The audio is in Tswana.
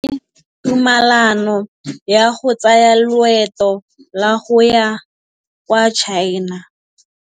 O neetswe tumalanô ya go tsaya loetô la go ya kwa China.